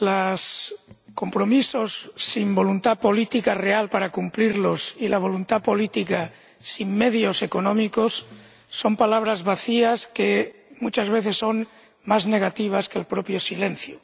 Señor Presidente, señor Mimica, los compromisos sin voluntad política real para cumplirlos y la voluntad política sin medios económicos son palabras vacías que muchas veces son más negativas que el propio silencio.